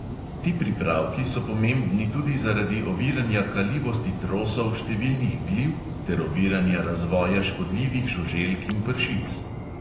Ti pripravki so pomembni tudi zaradi oviranja kalivosti trosov številnih gliv ter oviranja razvoja škodljivih žuželk in pršic.